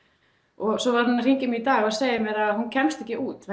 og svo var hún að hringja í í dag og segja mér að hún kemst ekki út